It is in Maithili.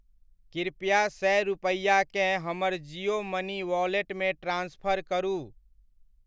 कृपया सए रूपैआ केँ हमर जियो मनी वॉलेटमे ट्रान्सफर करू।